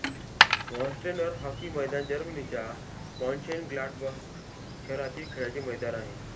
Warsteiner hockey मैदान जर्मनीच्या Mönchengladbach शहरातील खेळाचे मैदान आहे